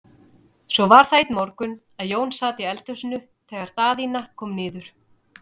Svo var það einn morgun að Jón sat í eldhúsi þegar Daðína kom niður.